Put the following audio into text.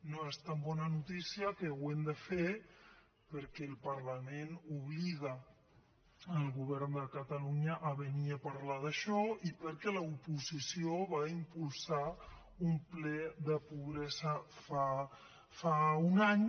no és tan bona notícia que ho hàgim de fer perquè el parlament obliga el govern de catalunya a venir a parlar d’això i perquè l’oposició va impulsar un ple de pobresa fa un any